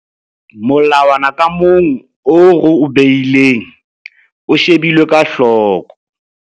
Molawana ka mong oo re o behileng o shebilwe ka hloko.